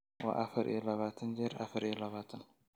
waa afar iyo labaatan jeer afar iyo labaatan